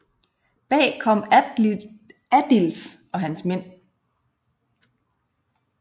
Bag kom Adils og hans mænd